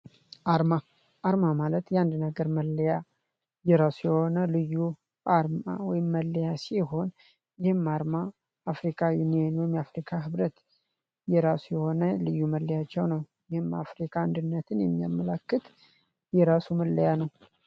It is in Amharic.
አርማ አርማ ማለት የአንድነገር መለያ የራሱ የሆነ ልዩ አርማ ወይም መለያ ሲሆን፤ ይህም አርማ አፍሪካ ዩኒዮን ወይም የአፍሪካ ህብረት የራሱ የሆነ ልዩ መለያቸው ነው። ይህም አፍሪካ አንድነትን የሚያመለክት የራሱ መለያ ነው።